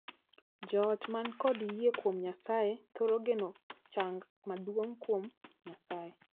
Joot man kod yie kuom Nyasaye thoro geno chang maduong' koa kuom Nyasaye.